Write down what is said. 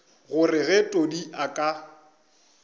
gore ge todi a ka